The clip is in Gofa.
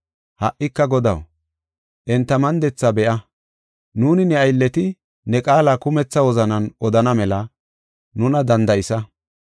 Ha77ika Godaw, enta mandetha be7a; nuuni ne aylleti ne qaala kumetha wozanan odana mela nuna danda7isa.